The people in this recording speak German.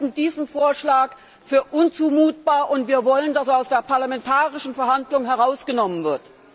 Wir halten diesen Vorschlag für unzumutbar und wir wollen, dass er aus der parlamentarischen Verhandlung herausgenommen wird.